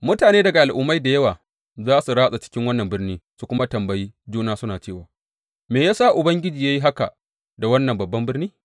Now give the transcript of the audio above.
Mutane daga al’ummai da yawa za su ratsa cikin wannan birni su kuma tambayi juna suna cewa, Me ya sa Ubangiji ya yi haka da wannan babban birni?’